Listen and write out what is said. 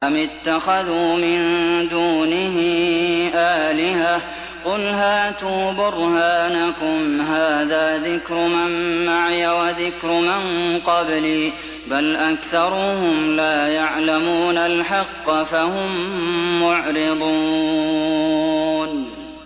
أَمِ اتَّخَذُوا مِن دُونِهِ آلِهَةً ۖ قُلْ هَاتُوا بُرْهَانَكُمْ ۖ هَٰذَا ذِكْرُ مَن مَّعِيَ وَذِكْرُ مَن قَبْلِي ۗ بَلْ أَكْثَرُهُمْ لَا يَعْلَمُونَ الْحَقَّ ۖ فَهُم مُّعْرِضُونَ